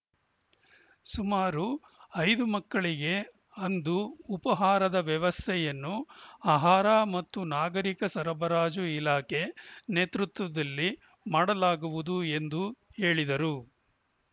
ಸುಮಾರು ಐದು ಮಕ್ಕಳಿಗೆ ಅಂದು ಉಪಹಾರದ ವ್ಯವಸ್ಥೆಯನ್ನು ಆಹಾರ ಮತ್ತು ನಾಗರೀಕ ಸರಬರಾಜು ಇಲಾಖೆ ನೇತೃತ್ವದಲ್ಲಿ ಮಾಡಲಾಗುವುದು ಎಂದು ಹೇಳಿದರು